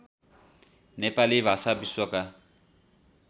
नेपाली भाषा विश्वका